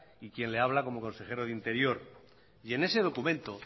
y quien le habla como consejero de interior y en ese documento